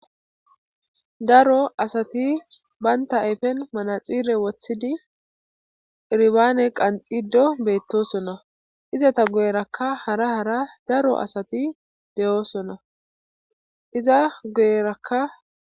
Daro asati baynta ayfen manaxire wothidi iribaane qanxido beettosona iza ta guyerakka hara hara daro asati de7oosona iza guyerakka